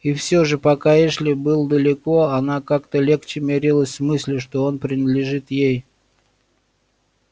и все же пока эшли был далеко она как-то легче мирилась с мыслью что он принадлежит ей